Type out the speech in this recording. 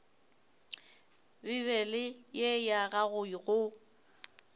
bibele ye ya gago go